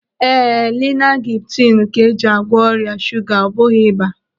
Ee, linaglipitinu ka eji agwọ ọrịa shuga, ọ bụghị ịba.